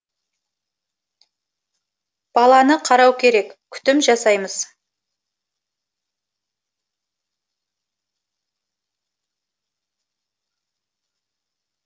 баланы қарау керек күтім жасаймыз